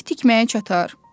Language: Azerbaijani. Ev tikməyə çatar?